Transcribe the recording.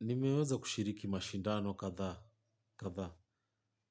Nimeweza kushiriki mashindano kadhaa, kadhaa.